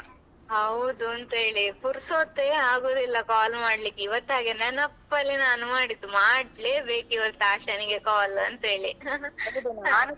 ಹೌದು ಅಂತೇಳಿ ಪುರ್ಸತ್ತೆ ಆಗುದಿಲ್ಲ call ಮಾಡ್ಲಿಕೆ ಇವತ್ತು ಹಾಗೆ ನೆನಪಲ್ಲಿ ನಾನು ಮಾಡಿದ್ದು ಮಾಡ್ಲೇಬೇಕು ಇವತ್ತು ಆಶಾನಿಗೆ call ಅಂತೇಳಿ